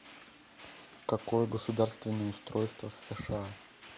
какое государственное устройство в сша